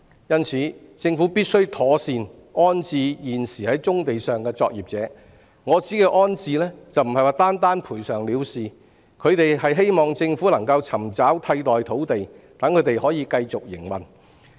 因此，政府必須妥善安置現時在棕地上的作業者，我指的安置不是單單賠償了事，他們希望政府可以尋找替代土地，讓他們能夠繼續營運。